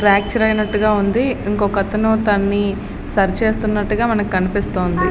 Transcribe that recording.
Fracture అయినట్టుగా ఉంది. ఇంకో అతను తనని సరి చేస్తున్నట్టుగా మనకి కనిపిస్తుంది.